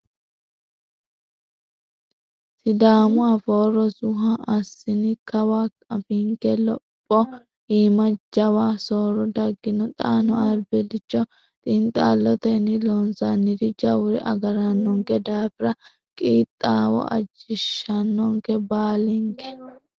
Sidaamu afoo rosuha assini kawa afiinke lopho iima jawa soorro dagino, xaano albilcho xiinxallotenni loonsanniri jawuri agaranonke daafira qiixawo ajinshonke baallinke.